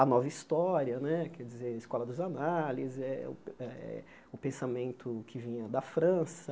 A nova história né quer dizer, a escola dos análises, eh eh o pensamento que vinha da França.